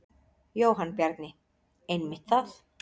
Jóhann Bjarni: Einmitt það.